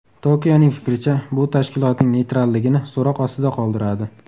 Tokioning fikricha, bu tashkilotning neytralligini so‘roq ostida qoldiradi.